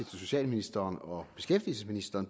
til socialministeren og beskæftigelsesministeren